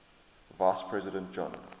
vice president john